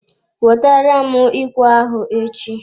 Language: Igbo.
Wetere m ikwe ahụ echi!